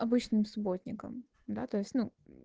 обычным субботником да то есть ну